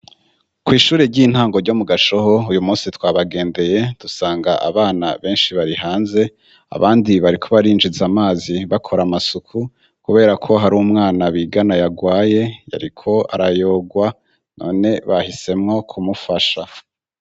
Kw'ishure ry'intango ryo mu gashoho uyu musi twabagendeye dusanga abana benshi bari hanze abandi bariko barinjize amazi bakora amasuku, kubera ko hari umwana bigana yagwaye yariko arayogwa none bahisemwo kumufasha.